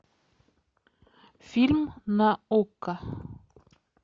фильм на окко